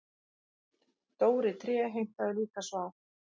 Dóri tré heimtaði líka svar.